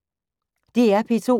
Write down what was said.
DR P2